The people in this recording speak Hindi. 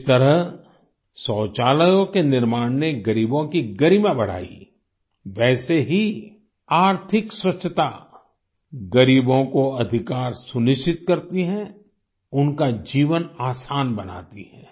जिस तरह शौचालयों के निर्माण ने गरीबों की गरिमा बढ़ाई वैसे ही आर्थिक स्वच्छता गरीबों को अधिकार सुनिश्चित करती है उनका जीवन आसान बनाती है